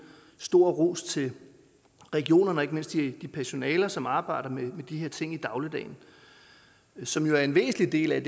stor ros til regionerne og ikke mindst til det personale som arbejder med de her ting i dagligdagen og som jo er en væsentlig del af